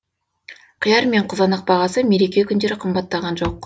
қияр мен қызанақ бағасы мереке күндері қымбаттаған жоқ